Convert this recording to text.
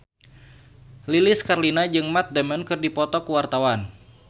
Lilis Karlina jeung Matt Damon keur dipoto ku wartawan